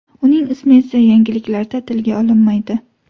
Uning ismi esa yangiliklarda tilga olinmaydi.